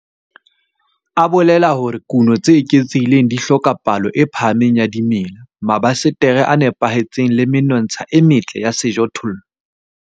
A bolela hore kuno tse eketsehileng di hloka palo e phahameng ya dimela, mabasetere a nepahetseng le menontsha e metle ya sejothollo.